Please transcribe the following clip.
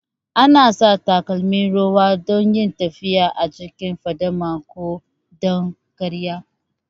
Ana sa takalmin ruwa don yin tafiya a cikin fadama ko don kariya